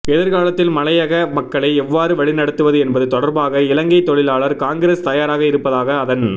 எதிர்காலத்தில் மலையக மக்களை எவ்வாறு வழிநடத்துவது என்பது தொடர்பாக இலங்கை தொழிலாளர் காங்கிரஸ் தயாராக இருப்பதாக அதன்